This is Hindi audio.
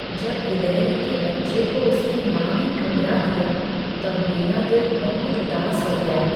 जब गिलहरी के बच्चे को उसकी माँ ने ठुकरा दिया तब मेरा दिल बहुत उदास हो गया।